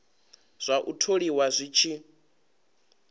zwa u tholiwa zwi tshi